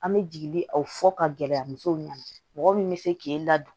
An bɛ jigi aw fɔ ka gɛlɛya musow ɲɛna mɔgɔ min bɛ se k'e ladon